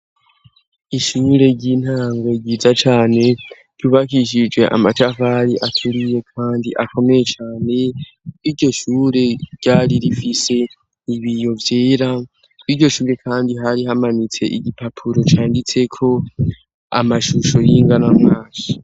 Ishure ry'intango ryiza cane ryubakishijwe amatafari akeriye kandi akomeye cane iryo shure ryari rifise ibiyo vyera, iryo shure kandi hari hamanitse igipapuro canditse ko amashusho